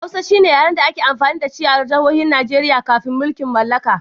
Hausa shine yaren da aka yi amfani da shi a Arewacin Nijeriya kafin mulkin mallaka.